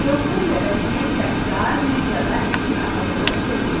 Deokun nəvəsi Kiaksar Midiyada İskit ağalığına son qoydu.